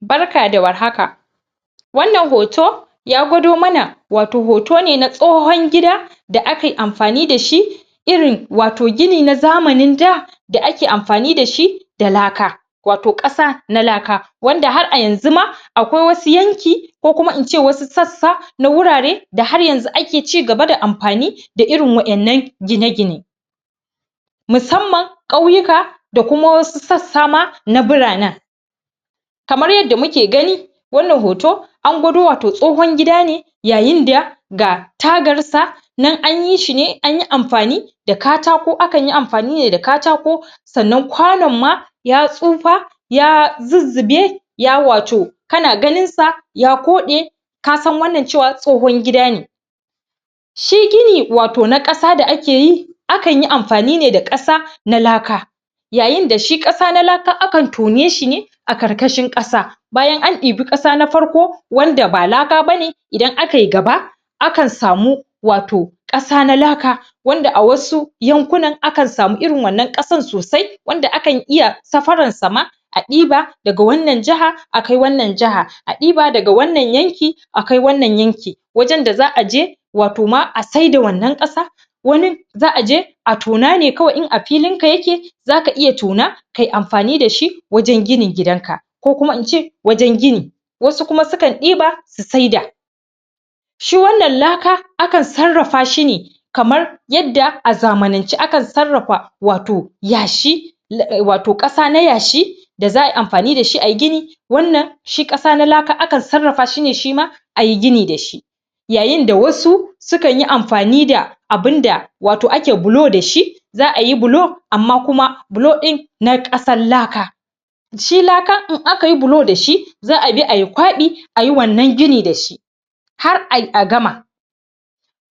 barka da warhaka wannan hoto ya gwado mana wato hoto ne na tsohon gida da akai amfani da shi irin wato gini na zamanin da da ake amfani da shi da laka wato kasa na laka wanda har a yanzu ma a kai wasu yanki ko kuma ince wasu sassa na wurare da har yanzu ake cigaba da amfani da irin wadan nan gine-gine musamman kauyuka da wasu kuma sassa na buranan kamar yadda muke gani wannan hoto an gwado wato tsohon gida ne yayin da ga tagarsa nan anyi shi ne. anyi amfani da katako akan yi amfani ne da katako sannan kwanan ma ya tsufa ya zuzzubai ya wato kana ganin sa ya kode kasan wannan tsohon gida ne shi gini wato na kasa da ake yi akan yi amfani da kasa na laka yayin da kasa na laka akan tone shi a karkashin kasa bayan an ibii kasa na farko wanda ba laka ba ne idan akai gaba akan samu wato kasa na laka wanda a wsu yankunan akan samu irin wannan kasar sosai wanda akan iya safarar sa ma a diba daga wannan jaha a kai wannan jaha a diba daga wannan yanki a kai wannan yanki wajan da za aje wato ma a saida wannan kasa wani za aje a tona ne kawai in a filinka yake za ka iya tona kai amfani da shi wajan ginin gidan ka kokuma ince wajan gini wasu kuma sukan diba sy saida shi wannan laka akan sarrafa shi ne kamar kyadda a zamanance ake sarrafa wato yashi wato kasa na yashi za ayi amfani da shi ay gini wannan shi kasa na laka akan sarrafa shi ne shima ai gini da shi yayin da wasu sukan yi amfani da abun da wato ake bulo da shi za ayi bulo, amma kuma bulo din na kasan laka shi lakan in aka yi bulo da shi za abi ay kwabi ayi wannan gini da shi har ay gama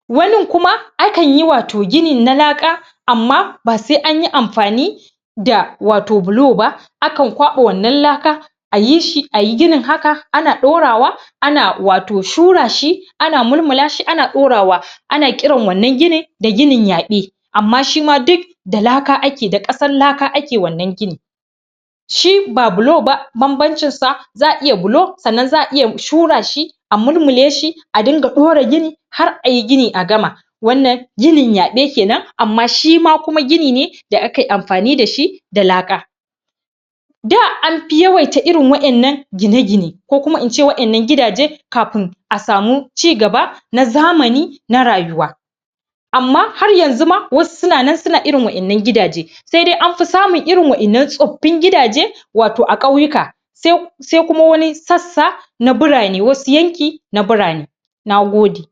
wanin kuma akanyi wato ginin na laka amma ba sai anyi amfani da wato buloba akan kwaba wato wannan laka ayi sh,i ayi ginin haka ana dorawa ana curashi ana mulmulashi ana mulmula shi ana dorawa ana kiran wannan ginin da ginin da ginin yabe amma shima duk da laka ake, da kasar laka ake wannan gini shi ba buloba babbancinsa za a iya buio sannan za a iya shura shi a mulmula shi a dinga dora gini har ayyi gini a gama wannan ginin yabe kenan amma shima kuma gini ne da akai amfani da shi da laka da anfi yawaita wa'ayannan gine-gine ko kuma in ce wadannan gidaje kafin kafin a samu ci gaba na zamani na rayuwa ammma har yanzu ma wasu sunan suna wa'ayannan gidaje sai dai anfi samun wadannan tsaffin gida je wato a kauyuka sai kuma wani sassa na burane, wasu yanki nana burane na gode